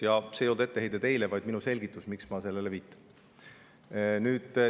Ja see ei olnud etteheide teile, vaid minu selgitus, miks ma sellele viitan.